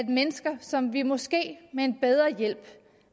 mennesker som vi måske med en bedre hjælp